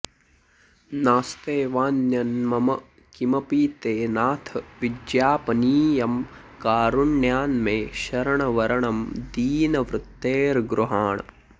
नास्त्येवान्यन्मम किमपि ते नाथ विज्ञापनीयं कारुण्यान्मे शरणवरणं दीनवृत्तेर्गृहाण